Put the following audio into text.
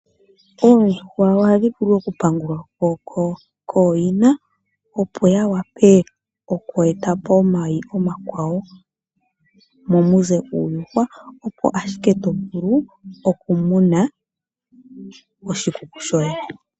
Oondjuhwa ohadhi vulu okupangulwako kooyina opo ya wape oku eta po omayi omakwawo momuze uuyuhwa opo ashike tovulu okumuna oshikuku shoondjuhwa.